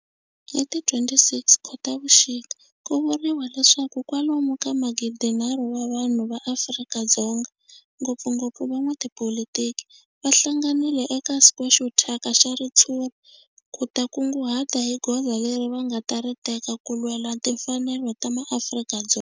Hi ti 26 Khotavuxika ku vuriwa leswaku kwalomu ka magidinharhu wa vanhu va Afrika-Dzonga, ngopfungopfu van'watipolitiki va hlanganile eka square xo thyaka xa ritshuri ku ta kunguhata hi goza leri va nga ta ri teka ku lwela timfanelo ta maAfrika-Dzonga.